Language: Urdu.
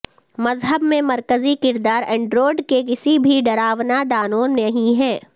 مذہب میں مرکزی کردار انڈرورڈ کے کسی بھی ڈراونا دانو نہیں ہے